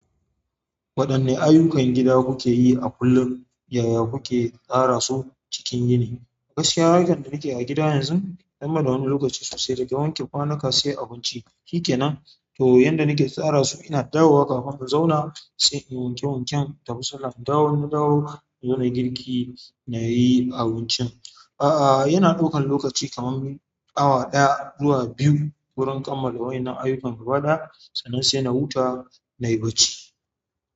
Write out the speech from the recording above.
Waɗanne ayyukan gida kuke yi a kullum, yaya kuke tsara su cikin yini? Gaskiya, harkan da nake a gida yanzu, dan banda wani lokaci sosai daga wanke kwanuka, sai abinci shikenan to yanda nake tsara su ina dawo wa kafin in zauna sai in wanke wanken da musamman dawo na dawo in zauna girki nayi abincin. A'a yana ɗaukan lokaci kamar awa ɗaya zuwa biyu wurin kammala waƴannan ayyukan gaba ɗaya, sannan sai na huta na yi barci.